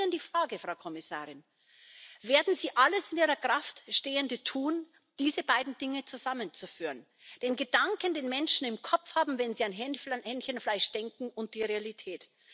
Ich stelle Ihnen die Frage, Frau Kommissarin Werden Sie alles in Ihrer Kraft stehende tun, diese beiden Dinge zusammenzuführen? Denn Gedanken, den Menschen im Kopf haben, wenn Sie an Hähnchenfleisch denken, und die Realität?